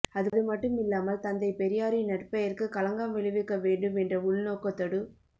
அதுமட்டுமில்லாமல் தந்தை பெரியாரின் நற்பெயருக்கு களங்கம் விளைவிக்க வேண்டும் என்ற உள்நோக்கத்தோடு